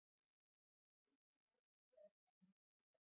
Aukinn áhugi á ferðum til útlanda